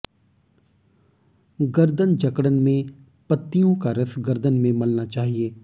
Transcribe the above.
गर्दन जकड़न में पत्तियों का रस गर्दन में मलना चाहिए